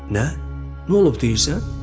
Nə? Nə olub deyirsən?